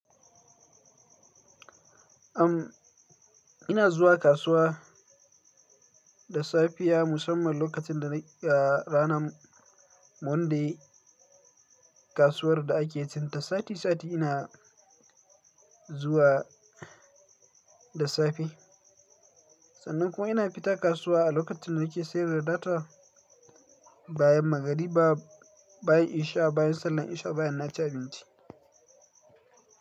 Am, ina zuwa kasuwa da safiya musamman lokacin da na ranan Monday kasuwar da ake cinta sati sati ina zuwa da safe. Sannan kuma ina fita kasuwa a lokacin da nake sayar da data bayan magarba bayan isha, bayan sallar isha, bayan naci abinci.